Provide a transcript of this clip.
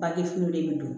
Bangefini bɛ don